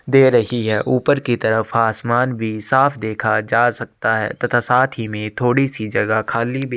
दे रही है। ऊपर की तरफ आसमान भी साफ देखा जा सकता है तथा साथ ही में थोड़ी सी जगह खली भी --